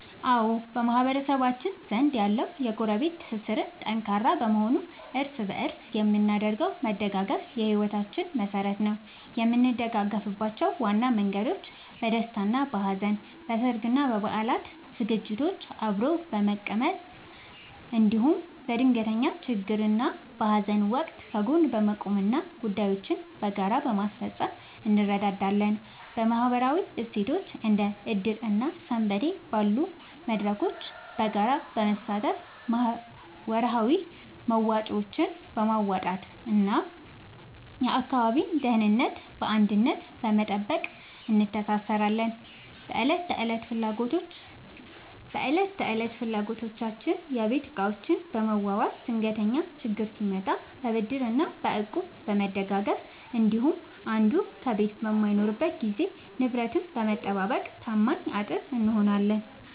አዎ፣ በማህበረሰባችን ዘንድ ያለው የጎረቤት ትስስር ጠንካራ በመሆኑ እርስ በእርስ የምናደርገው መደጋገፍ የሕይወታችን መሠረት ነው። የምንደጋገፍባቸው ዋና መንገዶች፦ በደስታና በሐዘን፦ በሠርግና በበዓላት ዝግጅቶችን አብሮ በመቀመም፣ እንዲሁም በድንገተኛ ችግርና በሐዘን ወቅት ከጎን በመቆምና ጉዳዮችን በጋራ በማስፈጸም እንረዳዳለን። በማኅበራዊ እሴቶች፦ እንደ ዕድር እና ሰንበቴ ባሉ መድረኮች በጋራ በመሳተፍ፣ ወርሃዊ መዋጮዎችን በማዋጣትና የአካባቢን ደህንነት በአንድነት በመጠበቅ እንተሳሰራለን። በዕለት ተዕለት ፍላጎቶች፦ የቤት ዕቃዎችን በመዋዋስ፣ ድንገተኛ ችግር ሲመጣ በብድርና በእቁብ በመደጋገፍ እንዲሁም አንዱ ከቤት በማይኖርበት ጊዜ ንብረትን በመጠባበቅ ታማኝ አጥር እንሆናለን።